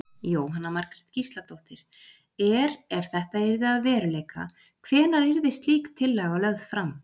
Jóhanna Margrét Gísladóttir: Er, ef þetta yrði að veruleika hvenær yrði slík tillaga lögð fram?